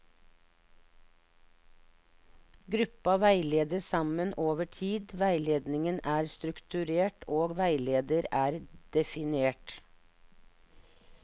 Gruppa veiledes sammen over tid, veiledningen er strukturert og veileder er definert.